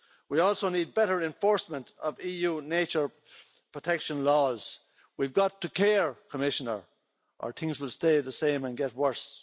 We also need better enforcement of EU nature protection laws. We've got to care, Commissioner, or things will stay the same and get worse.